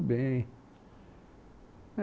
Bem, é